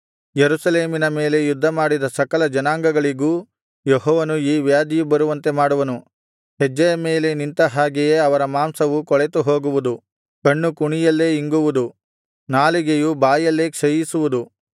ಯೆರೂಸಲೇಮಿನ ಮೇಲೆ ಯುದ್ಧ ಮಾಡಿದ ಸಕಲ ಜನಾಂಗಗಳಿಗೂ ಯೆಹೋವನು ಈ ವ್ಯಾಧಿಯು ಬರುವಂತೆ ಮಾಡುವನು ಹೆಜ್ಜೆಯ ಮೇಲೆ ನಿಂತ ಹಾಗೆಯೇ ಅವರ ಮಾಂಸವು ಕೊಳೆತು ಹೋಗುವುದು ಕಣ್ಣು ಕುಣಿಯಲ್ಲೇ ಇಂಗುವುದು ನಾಲಿಗೆಯು ಬಾಯಲ್ಲೇ ಕ್ಷಯಿಸುವುದು